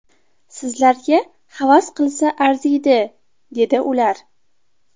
Sizlarga havas qilsa arziydi’, dedi ular.